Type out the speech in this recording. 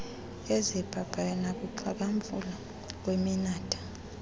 ezibhabhayo nakukuxhakamfula kweminatha